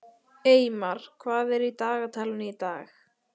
Eymar, hvað er í dagatalinu í dag?